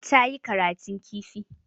Ta yi karatun kifi.